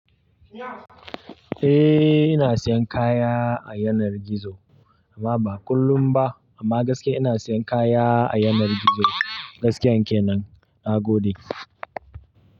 Eh ina siyan kaya a yanar gizo amma ba kullum ba amma gaskiya ina siyan kaya a yanar gizo. Gaskiyan kenan na gode.